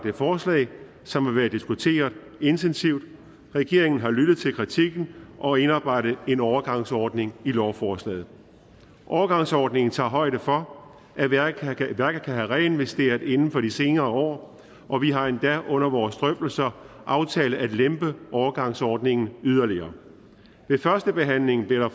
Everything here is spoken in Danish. et forslag som har været diskuteret intensivt regeringen har lyttet til kritikken og indarbejdet en overgangsordning i lovforslaget overgangsordningen tager højde for at værket kan have reinvesteret inden for de senere år og vi har endda under vores drøftelser aftalt at lempe overgangsordningen yderligere ved førstebehandlingen blev der